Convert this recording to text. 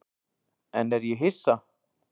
En er ég hissa?